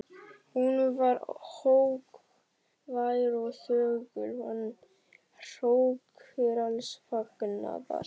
Hún var hógvær og þögul, hann hrókur alls fagnaðar.